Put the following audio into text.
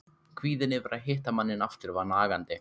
Kvíðinn yfir því að hitta manninn aftur var nagandi.